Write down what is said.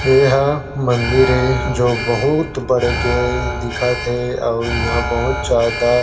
एहा मंदिर ए जो बहुत बड़े के दिखत हे अउ इहा बहुत ज्यादा।